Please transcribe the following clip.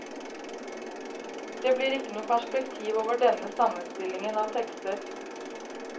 Det blir ikke noe perspektiv over denne sammenstillingen av tekster.